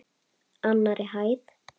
Annarri hæð.